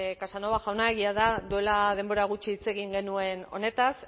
casanova jauna egia da duela denbora gutxi hitz egin genuen honetaz